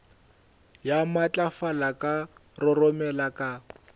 ya matlafala ka roromela ka